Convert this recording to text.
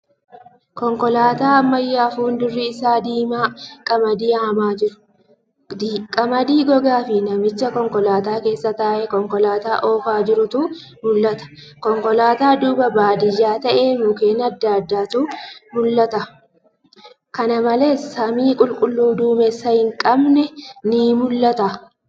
Konkoolaataa ammayyaa fuuldurri isaa diimaa qamadii haamaa jiru. Qamadii gogaafi namicha konkolaataa keessa taa'ee konkoolaataa oofaa jirutu mul'ata. Konkolaataa duuba baadiyyaa tahee mukkeen adda addaatu mul'ata. Kana malees, samii qulqulluu duumessa hin qabne ni mul'ata.